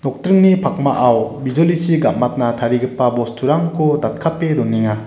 pakmao bijolichi gam·atna tarigipa bosturangko datkape donenga.